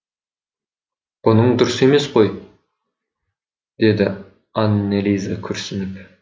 бұның дұрыс емес қой деді аннелиза күрсініп